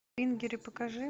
ингири покажи